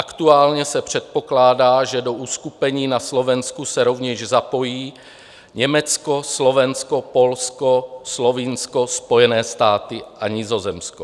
Aktuálně se předpokládá, že do uskupení na Slovensku se rovněž zapojí Německo, Slovensko, Polsko, Slovinsko, Spojené státy a Nizozemsko.